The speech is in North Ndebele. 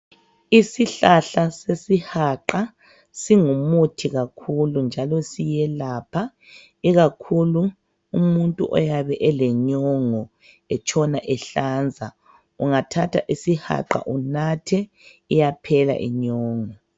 Isihlahla sesihaqa singumuthi kakhulu njalo siyelapha ikakhulu umuntu oyabe elenyongo etshona ehlanza ungathatha isihaqa unathe iyaphela inyongo.